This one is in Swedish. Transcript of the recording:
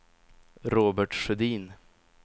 Robert Sjödin